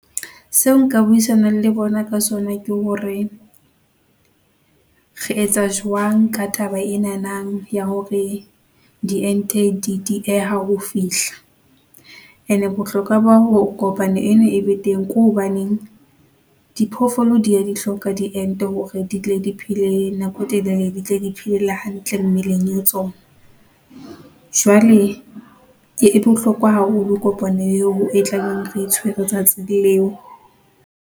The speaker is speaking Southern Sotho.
Se o nka buisanang le bona ka sona ke hore re etsa jwang ka taba enana ya hore diente di dieha ho fihla, ene bohlokwa ba hore kopano eno e be teng ke hobaneng, diphoofolo di ya di hloka diente hore ditle di phele nako e telele, ditle di phele le hantle mmeleng le tsona. Jwale e bohlokwa haholo kopano eo e tlabeng re e tshwere letsatsi leo.